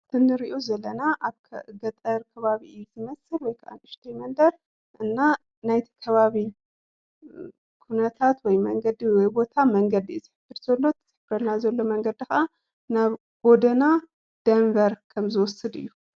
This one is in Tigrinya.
እዚ እንርእዮ ዘለና ኣብ ገጠር ከባቢ እዩ: ዝመሰል ወይከዓ ንእሽተይ መንደር እና ናይቲ ከባቢ ኩነታት ወይ መንገዲ ወይ ቦታ መንገዲ እዩ ዝሕበር ዘሎ:: እቲ ዝሕብረና ዘሎ መንገዲ ከዓ ናብ ጎደና ደንበር ከም ዝወስድ እዩ።